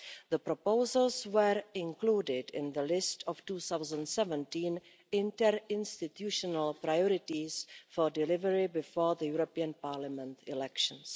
The proposals were included in the list of 2017 interinstitutional priorities for delivery before the European Parliament elections.